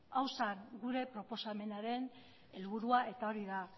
hau zen gure proposamenaren helburua eta hori da